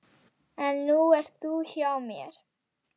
En nú ert þú hjá mér.